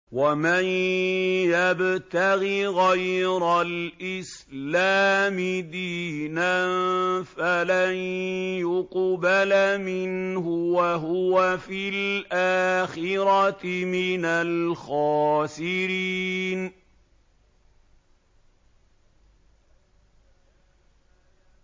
وَمَن يَبْتَغِ غَيْرَ الْإِسْلَامِ دِينًا فَلَن يُقْبَلَ مِنْهُ وَهُوَ فِي الْآخِرَةِ مِنَ الْخَاسِرِينَ